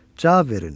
Cavab verin!